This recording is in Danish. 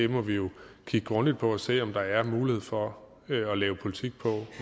må vi jo kigge grundigt på og se om der er mulighed for at lave politik på